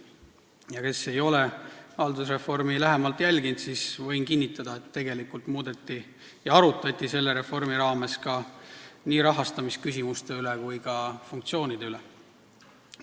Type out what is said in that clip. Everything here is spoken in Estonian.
Neile, kes ei ole haldusreformi lähemalt jälginud, võin kinnitada, et tegelikult arutati selle reformi raames ka rahastamisküsimuste ning funktsioonide üle ja muudeti neid.